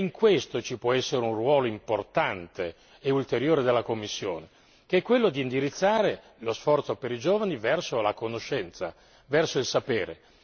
In questo ci può essere un ruolo importante e ulteriore della Commissione, che è quello di indirizzare lo sforzo per i giovani verso la conoscenza, verso il sapere.